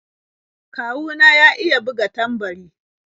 Kawu na ya iya buga tambari.